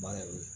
Baara ye o ye